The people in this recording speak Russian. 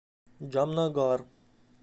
джамнагар